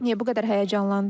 Niyə bu qədər həyəcanlandınız?